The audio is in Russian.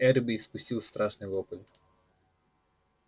эрби испустил страшный вопль